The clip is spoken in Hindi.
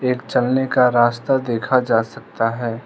एक चलने का रास्ता देखा जा सकता है।